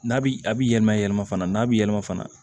N'a bi a bi yɛlɛma yɛlɛma fana n'a bi yɛlɛma fana